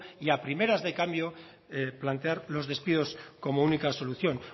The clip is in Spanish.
y a primeras de cambio plantear los despidos como única solución